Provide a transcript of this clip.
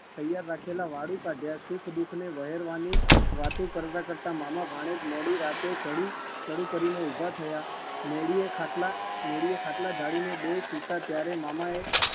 તૈયાર રાખેલા વાળુ કાઢ્યા સુખ દુઃખને વહેરાવાની વાતો કરતા કરતા મામા ભાણેજ મોડી રાતે ચળુ ચળુ કરીને ઉભા થયા. મેડીએ ખાટલા મેડીએ ખાટલા ઢાળીને બેય સુતા ત્યારે મામાએ